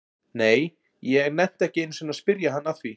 Nei, ég nennti ekki einu sinni að spyrja hann að því